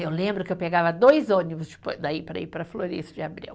Eu lembro que eu pegava dois ônibus daí para ir para a Florêncio de Abreu.